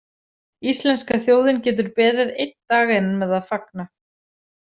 Íslenska þjóðin getur beðið einn dag enn með að fagna.